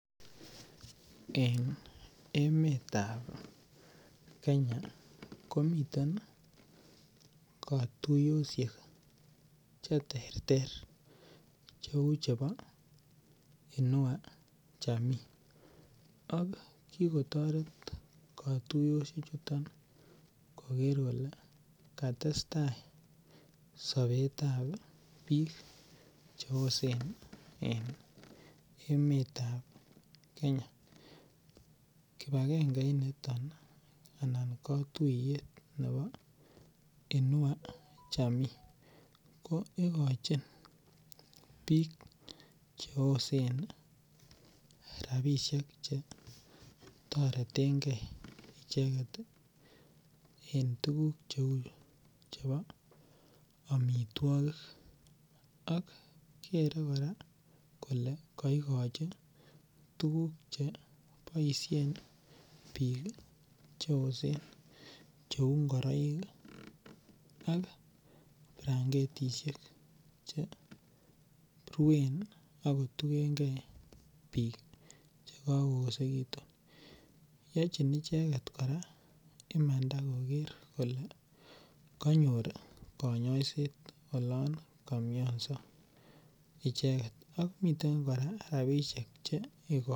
En emetab Kenya komiten katuyosiek cheterter cheu chebo inua jamii ak kikotoret katoyosiechuto koger kole katestai sobetab biik che osen eng emetab Kenya. Kibakenge unito anan katuiyet nebo Inua Jamii ko ikochin biik cheosen rapisiek che toretenge icheget en tuguk cheu chebo amitwogik ak kere kora kole kaigochi tuguk che boisien biik cheosen cheu ngiroik ak branketisiek cheruen ak kotugenge biik chekakoesegitun. Yochin icheget kora imanda koger kole kanyor konyoiset olon kamioso icheget ak miten kora rapisiek chegoito